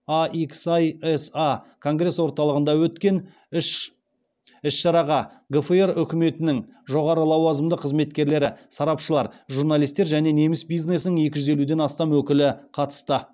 ахіса конгресс орталығында өткен іс шараға гфр үкіметінің жоғары лауазымды қызметкерлері сарапшылар журналистер және неміс бизнесінің екі жүз елуден астам өкілі қатысты